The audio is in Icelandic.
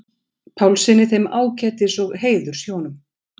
Pálssyni, þeim ágætis- og heiðurshjónum.